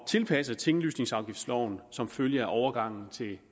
tilpasse tinglysningsafgiftsloven som følge af overgangen til